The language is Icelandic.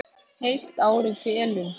Heilt ár í felum.